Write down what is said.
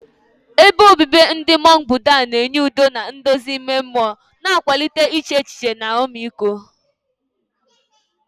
Ebe obibi ndị mọnk Buddha na-enye udo na nduzi ime mmụọ, na-akwalite iche echiche na ọmịiko.